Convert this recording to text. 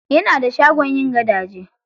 Yana da shagon yin gadaje.